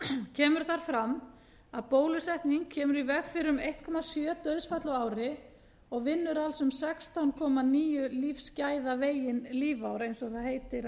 kemur þar fram að bólusetning kemur í veg fyrir um einn komma sjö dauðsföll á ári og vinnur alls um sextán komma níu lífsgæðavegin lífár eins og það